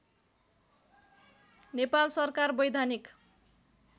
नेपाल सरकार वैधानिक